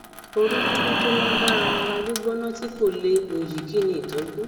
orififo tó lágbára ara gbigbona ti ko le oyi kini itoju